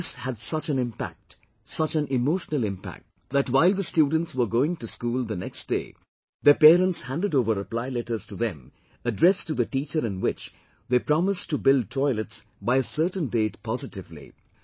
And this had such an impact, such an emotional impact that while the students were going to school the next day, their parents handed over reply letters to them addressed to the teacher in which they promised to build toilets by a certain date positively